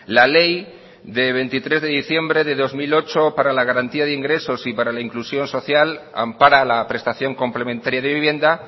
la ley de veintitrés de diciembre de dos mil ocho para la garantía de ingresos y para inclusión social ampara la prestación complementaria de vivienda